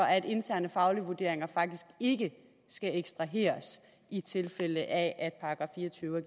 at interne faglige vurderinger faktisk ikke skal ekstraheres i tilfælde af at § fire og tyve